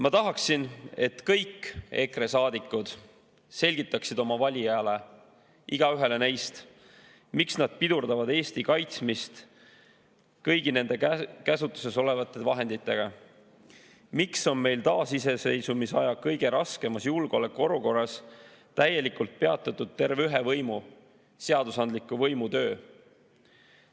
Ma tahaksin, et kõik EKRE saadikud selgitaksid oma valijaile, igaühele neist, miks nad pidurdavad Eesti kaitsmist kõigi nende käsutuses olevate vahenditega, miks on meil taasiseseisvuseaja kõige raskemas julgeolekuolukorras täielikult peatatud terve ühe võimu, seadusandliku võimu töö.